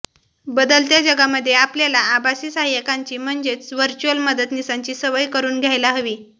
बदलत्या जगामध्ये आपल्याला आभासी सहाय्यकांची म्हणजेच व्हर्चुअल मदतनिसांची सवय़ करुन घ्यायला हवी